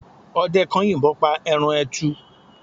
ọdẹ kan yìnbon pa eran etù